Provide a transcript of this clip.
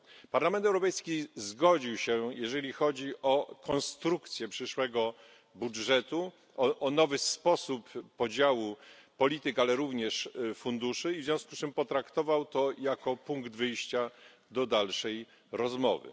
Parlament Europejski zgodził się, jeżeli chodzi o konstrukcję przyszłego budżetu, o nowy sposób podziału polityk, ale również funduszy, i w związku z tym potraktował to jako punkt wyjścia do dalszej rozmowy.